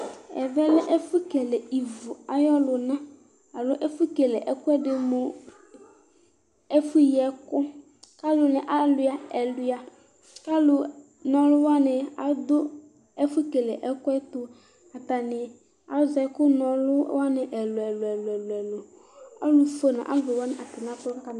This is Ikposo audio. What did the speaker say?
ɛmɛ lɛ ɛfʊ na ivu luna nɩɩ ɛfuyi ɛku, kʊ alila ɛlʊia, kʊ ɔlunananɩ wanɩ dʊ ɛfu kele ɛkuɛ tʊ, atanɩ azɛ ɛkunɔluwanɩ ɛluɛlu,